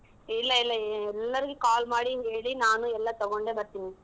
ಇಲ್ಲಾ ಇಲ್ಲಾ ಎಲ್ಲರ್ಗು call ಮಾಡಿ ಹೇಳಿ ನಾನು ಎಲ್ಲಾ ತಗೊಂಡೆ ಬರ್ತೀನಿ.